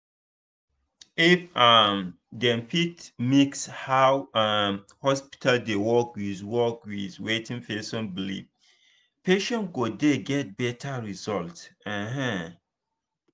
if um dem fit mix how um hospital dey work with work with wetin person believe patient go dey get better result. um